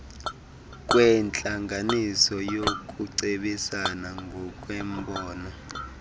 kwentlanganiso yokucebisana ngokwembono